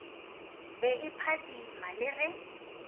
be e phadima le ge